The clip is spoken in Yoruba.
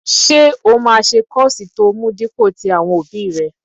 Ṣé o máa ṣe kọ́ọ̀sì tó mú dípò tí àwọn òbí rẹ?